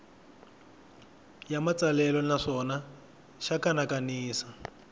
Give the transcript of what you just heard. ya matsalelo naswona xa kanakanisa